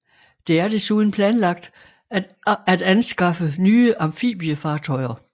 Det er desuden planlagt at anskaffe nye amfibiefartøjer